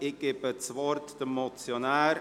Ich gebe das Wort dem Motionär.